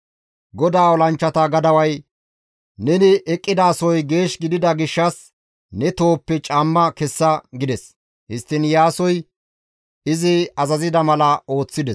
GODAA olanchchata gadaway, «Neni eqqidasoy geesh gidida gishshas ne tohoppe caamma kessa» gides; histtiin Iyaasoy izi azazida mala ooththides.